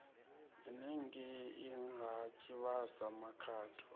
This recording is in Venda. henengei ha tshivhasa makhado a